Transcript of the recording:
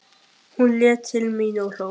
Hún leit til mín og hló.